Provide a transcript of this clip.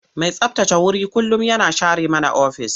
Mai tsabtace wuri kullum yana share mana ofis.